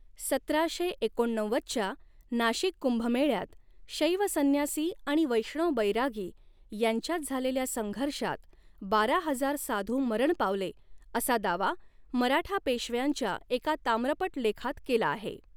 सतराशे एकोणनव्वदच्या नाशिक कुंभमेळ्यात शैव संन्यासी आणि वैष्णव बैरागी यांच्यात झालेल्या संघर्षात बारा हजार साधू मरण पावले असा दावा मराठा पेशव्यांच्या एका ताम्रपटलेखात केला आहे.